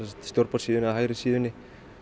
stjórnborðssíðunni eða hægri síðunni